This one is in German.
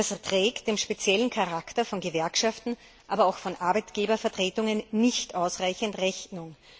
Das trägt dem speziellen Charakter von Gewerkschaften, aber auch von Arbeitgebervertretungen nicht ausreichend Rechnung.